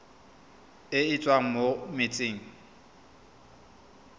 e e tswang mo metsing